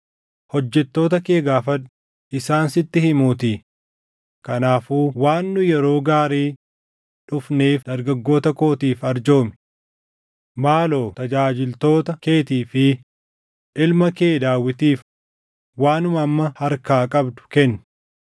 Hojjettoota kee gaafadhu; isaan sitti himuutii. Kanaafuu waan nu yeroo gaarii dhufneef dargaggoota kootiif arjoomi. Maaloo tajaajiltoota keetii fi ilma kee Daawitiif waanuma amma harkaa qabdu kenni.’ ”